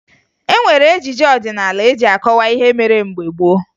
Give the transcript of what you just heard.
E nwere ejije ọdịnaala eji akọwa ihe mere mgbe gboo